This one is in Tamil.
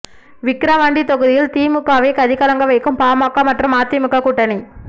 விக்கிரவாண்டி தொகுதியில் திமுகவை கதிகலங்க வைக்கும் பாமக மற்றும் அதிமுக கூட்டணி